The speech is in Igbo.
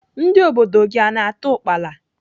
Ndị obodo gị a na-ata ukpala?